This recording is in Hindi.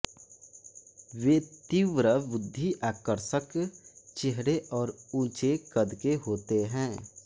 वे तीव्रबुद्धि आकर्षक चेहरे और ऊंचे क़द के होते हैं